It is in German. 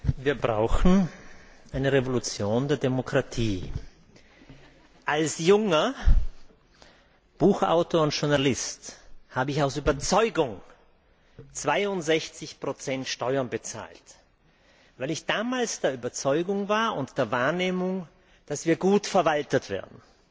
Herr Präsident! Wir brauchen eine Revolution der Demokratie. Als junger Buchautor und Journalist habe ich aus Überzeugung 62 Steuern bezahlt, weil ich damals der Überzeugung war und den Eindruck hatte, dass wir gut verwaltet werden.